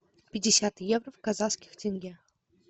пятьдесят евро в казахских тенге